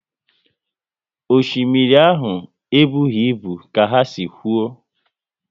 Osimiri ahụ e bụghị ibu ka ha si kwuo